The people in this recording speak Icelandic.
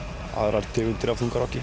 aðrar tegundir af þungarokki